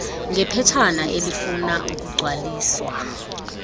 ngephetshana elifuna ukugcwaliswa